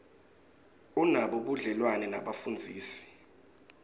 unabo budlelwane nebafundzisi